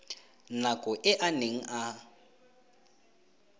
nako e a neng a